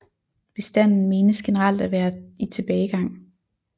Bestanden menes generelt at være i tilbagegang